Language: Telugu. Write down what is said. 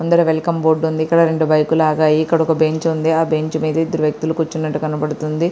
ఇక్కడ వెల్కం బోర్డు ఉంది. ఇక్కడ రెండు బైకులు ఆగి ఉన్నాయి.ఇక్కడొక బెంచ్ ఉంది. ఆ బెంచ్ మీద ఇద్దరు వ్యక్తులు కూర్చుని ఉన్నట్టు కనబడుతుంది.